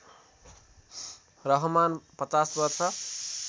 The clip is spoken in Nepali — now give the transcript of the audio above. रहमान ५० वर्ष